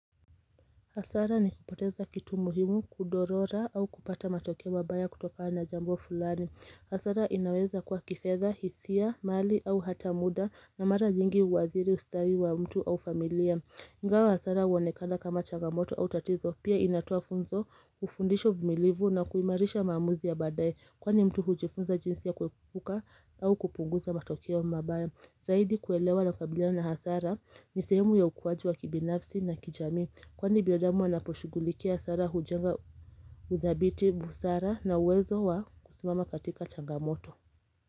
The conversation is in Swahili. Hasara ni kupoteza kitu muhimu kudorora au kupata matokeo mabaya kutokana na jambo fulani. Hasara inaweza kuwa kifedha, hisia, mali au hata muda na mara nyingi uathiri ustawi wa mtu au familia. Ingawa hasara uoenekana kama chagamoto au tatizo pia inatoa funzo, ufundisho uvumilivu na kuimarisha maamuzi ya badaye. Kwani mtu hujifunza jinsia kuepuka au kupunguza matokeo mabaya. Zaidi kuelewa unakabiliana na hasara ni sehemu ya ukuaji wa kibinafsi na kijamii kwani binadamu wanaposhughulikia hasara hujenga uthabiti busara na uwezo wa kusimama katika changamoto.